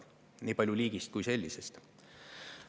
Nii palju liigist kui sellisest.